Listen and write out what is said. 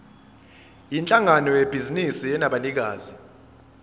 yinhlangano yebhizinisi enabanikazi